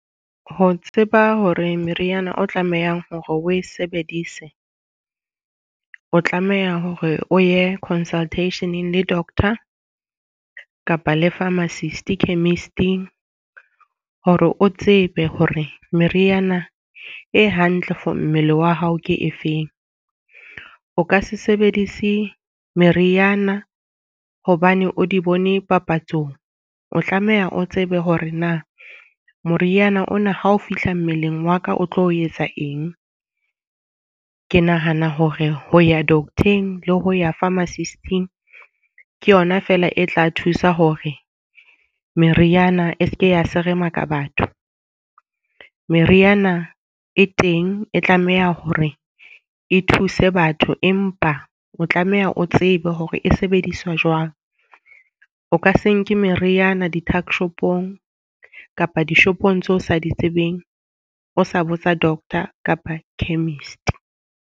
Ho tseba hore meriana o tlamehang hore o e sebedise, o tlameha hore o ye consultation le doctor, kapa le pharmacist chemist-ing. Hore o tsebe hore meriana e hantle for mmele wa hao ke efeng. O ka se sebedise meriana hobane o di bone papatsong. O tlameha o tsebe hore na moriana ona ha o fihla mmeleng wa ka o tlo etsa eng. Ke nahana hore ho ya doctor-eng le ho ya pharmacist-ing ke yona fela e tla thusa hore meriana e seke ya seremaka batho. Meriana e teng e tlameha hore e thuse batho, empa o tlameha o tsebe hore e sebediswa jwang. O ka se nke meriana di-tuckshop-ong kapa dishopong tseo o sa di tsebeng, o sa botsa doctor kapa chemist.